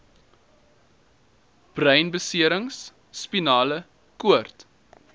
breinbeserings spinale koord